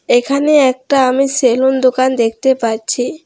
এখানে একটা আমি সেলুন দোকান দেখতে পাচ্ছি।